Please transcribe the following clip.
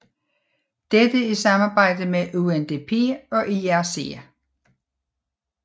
Dette i samarbejde med UNDP og IRC